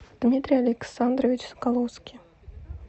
дмитрий александрович соколовский